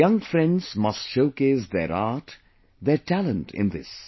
Our young friends must showcase their art, their talent in this